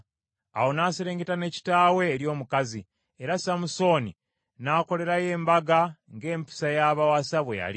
Awo n’aserengeta ne kitaawe eri omukazi, era Samusooni n’akolerayo embaga ng’empisa y’abawasa bwe yali.